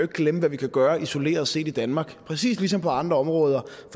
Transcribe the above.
glemme hvad vi kan gøre isoleret set i danmark præcis ligesom på andre områder